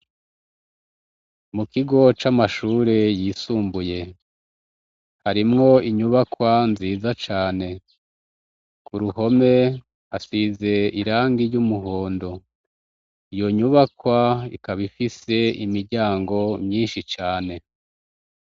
Mu kigo c'amashure yisumbuye harimwo inyubakwa nziza cane. Ku ruhome hasize irangi ry'umuhondo. Iyo nyubakwa ikaba ifise imiryango myinshi cane.